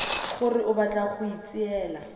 gore o batla go itseela